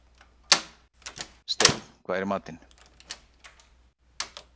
Steinn, hvað er í matinn?